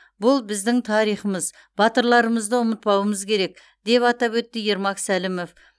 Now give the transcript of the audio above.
бұл біздің тарихымыз батырларымызды ұмытпауымыз керек деп атап өтті ермак сәлімов